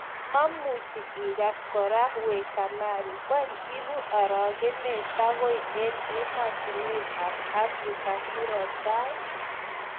memuchi igas kora we Kamari: weny ibu aragenet tangoi en ematunwek ap Africa murotai?